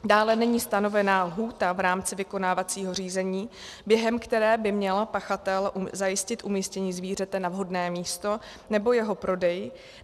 Dále, není stanovena lhůta v rámci vykonávacího řízení, během které by měl pachatel zajistit umístění zvířete na vhodné místo nebo jeho prodej.